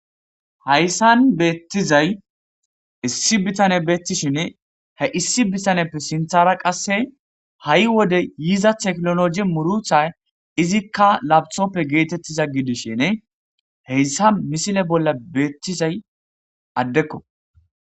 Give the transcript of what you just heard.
Hayssan beettizay issi bittane beettishinne he issi bittaneppe sinthara qasse ha7i wode yiza teknoloji murutay izikka lapitoppe geetettiza gidishenne heyssa misile bolla beettizay addekko